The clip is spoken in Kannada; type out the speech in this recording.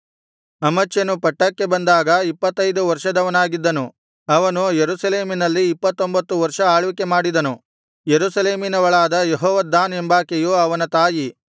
ಅಮಚ್ಯನು ಪಟ್ಟಕ್ಕೆ ಬಂದಾಗ ಇಪ್ಪತ್ತೈದು ವರ್ಷದವನಾಗಿದ್ದನು ಅವನು ಯೆರೂಸಲೇಮಿನಲ್ಲಿ ಇಪ್ಪತ್ತೊಂಭತ್ತು ವರ್ಷ ಆಳ್ವಿಕೆ ಮಾಡಿದನು ಯೆರೂಸಲೇಮಿನವಳಾದ ಯೆಹೋವದ್ದಾನ್ ಎಂಬಾಕೆಯು ಅವನ ತಾಯಿ